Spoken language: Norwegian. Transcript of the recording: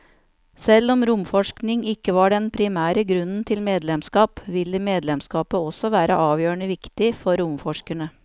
Selv om romforskning ikke var den primære grunnen til medlemskap, ville medlemskapet også være avgjørende viktig for romforskerne.